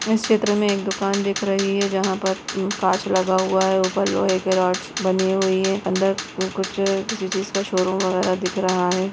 इस चित्र में एक दुकान दिख रही है जहाँ पर कांच लगा हुआ है ऊपर लोहे की राड बनी हुई है अंदर कुछ किसी चीज का शोरूम वगैरा दिख रहा हैं।